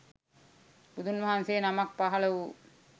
බුදුන් වහන්සේ නමක් පහළ වූ